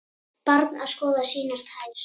Barn að skoða sínar tær.